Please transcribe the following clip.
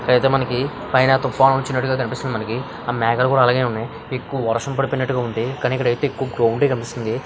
ఇక్కడ అయితే మనకి పైన తూఫాన్ వచ్చినట్టుగా కనిపిస్తుంది మనకి ఆ మేఘాలకు కూడా అలాగే ఉన్నాయి ఎక్కువ వర్షం పడుతున్నాటుగా ఉంది కానీ ఇక్కడ అయితే ఎక్కువ క్లోయూడీ కనిపిస్తుంది.